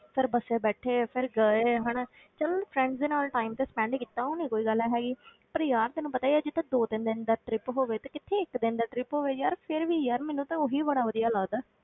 ਫਿਰ ਬੱਸੇ ਬੈਠੇ ਫਿਰ ਗਏ ਹਨਾ ਚੱਲ friends ਦੇ ਨਾਲ time ਤੇ spend ਕੀਤਾ, ਉਹ ਤੇ ਕੋਈ ਗੱਲ ਹੈਗੀ ਪਰ ਯਾਰ ਤੈਨੂੰ ਪਤਾ ਹੀ ਹੈ ਜਿੱਥੇ ਦੋ ਤਿੰਨ ਦਿਨ ਦਾ trip ਹੋਵੇ ਤੇ ਕਿੱਥੇ ਇੱਕ ਦਿਨ ਦਾ trip ਹੋਵੇ, ਯਾਰ ਫਿਰ ਵੀ ਯਾਰ ਮੈਨੂੰ ਤਾਂ ਉਹੀ ਬੜਾ ਵਧੀਆ ਲੱਗਦਾ।